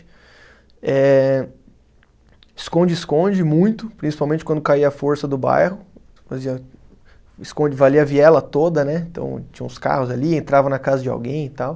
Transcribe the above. Ehh, esconde-esconde muito, principalmente quando caía a força do bairro, esconde valia a viela toda né, então tinha uns carros ali, entrava na casa de alguém e tal.